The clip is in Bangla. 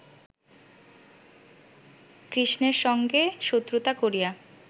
কৃষ্ণের সঙ্গে শত্রুতা করিয়া